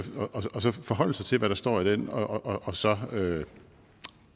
og så forholde sig til hvad der står i den og så